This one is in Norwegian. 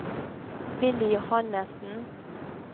Willy Johannesen